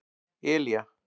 Elía